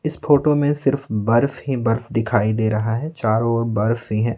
इस फोटो में सिर्फ बर्फ ही बर्फ दिखाई दे रहा है चारों ओर बर्फ ही है.